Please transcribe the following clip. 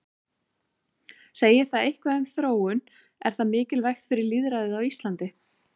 Segir það eitthvað um þróun, er það mikilvægt fyrir lýðræðið á Íslandi?